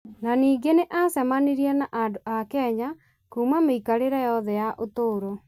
na ningĩ nĩ acemanirie na andũ a Kenya kuuma mĩikarĩre yothe ya ũtũũro ,